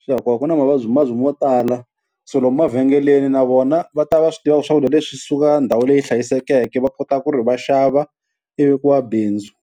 swi ya koho ku na mavabyivabyi mo tala, so lomu mavhengeleni na vona va ta va swi tiva ku swakudya leswi swi suka ndhawu leyi hlayisekeke va kota ku ri va xava ivi ku va bindzu.